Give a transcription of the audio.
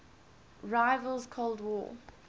rival's cold war